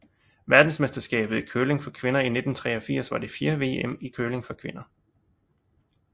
Verdensmesterskabet i curling for kvinder 1983 var det fjerde VM i curling for kvinder